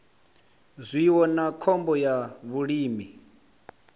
zwiwo na khombo ya vhulimi